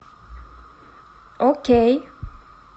окей